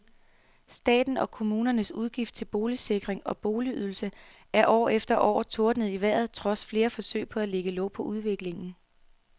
Statens og kommunernes udgifter til boligsikring og boligydelse er år efter år tordnet i vejret trods flere forsøg på at lægge låg på udviklingen.